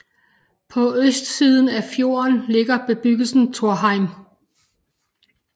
På østsiden af fjorden ligger bebyggelsen Torheim